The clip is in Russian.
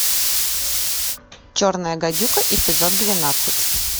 черная гадюка эпизод двенадцать